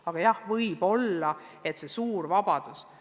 Aga jah, võib-olla on asi suures vabaduses.